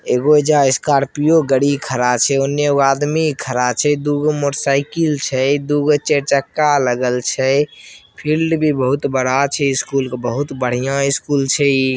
एजा एगो स्कॉर्पियो गाड़ी खड़ा छै एगो आदमी खड़ा छै दु गो मोटर साइकिल छै दु गो चार चक्का छै फील्ड भी बहुत बड़ा छै स्कूल के बहुत बढ़िया स्कूल छै इ।